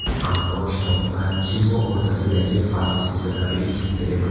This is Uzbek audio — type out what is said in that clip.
Ammo kitob va kino o‘rtasidagi farq sezilarli katta emas.